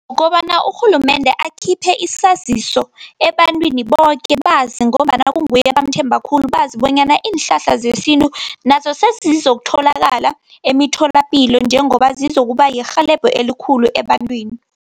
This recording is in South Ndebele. Kobana urhulumende akhiphe isaziso ebantwini boke bazi, ngombana kunguye ebamthembako khulu. Bazi bonyana iinhlahla zesintu, nazo sezizokutholakala emitholapilo njengoba zizokuba yirhelebho elikhulu ebantwini.